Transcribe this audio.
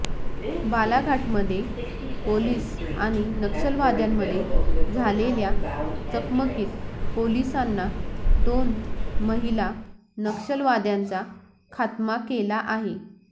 बालाघाटमध्ये police आणि नक्षलवाद्यांमध्ये झालेल्या चकमकीत पोलिसांना दोन महिला नक्षलवाद्यांचा खात्मा केला आहे